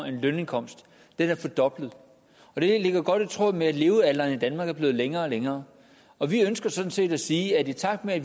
en lønindkomst fordoblet det ligger godt i tråd med at levealderen i danmark er blevet længere og længere og vi ønsker sådan set at sige at i takt med at